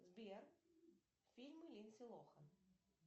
сбер фильмы линдси лохан